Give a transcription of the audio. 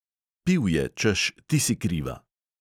Pil je, češ, ti si kriva.